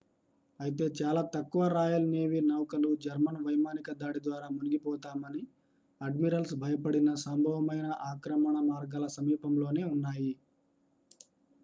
అయితే చాలా తక్కువ రాయల్ నేవీ నౌకలు జర్మన్ వైమానిక దాడి ద్వారా మునిగిపోతామని అడ్మిరల్స్ భయపడిన సంభవమైన ఆక్రమణ మార్గాల సమీపంలో నే ఉన్నాయి